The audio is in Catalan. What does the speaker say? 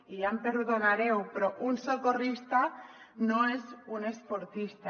i ja em perdonareu però un socorrista no és un esportista